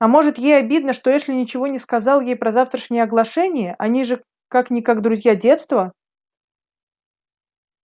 а может ей обидно что эшли ничего не сказал ей про завтрашнее оглашение они же как-никак друзья детства